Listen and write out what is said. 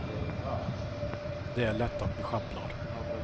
Det är lätt att vi sjabblar.